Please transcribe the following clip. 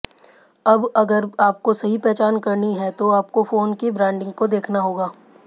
अब अगर आपको सही पहचान करनी है तो आपको फोन की ब्रांडिंग को देखना होगा